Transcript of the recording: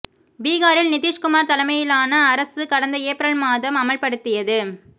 பீகாரில் நிதிஷ்குமார் தலைமையிலான அரசு கடந்த ஏப்ரல் மாதம் அமல்படுத்தியது